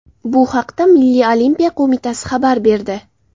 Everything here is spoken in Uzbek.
Bu haqda Milliy olimpiya qo‘mitasi xabar berdi .